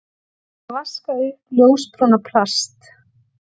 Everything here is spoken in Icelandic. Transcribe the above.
Að vaska upp ljósbrúna plast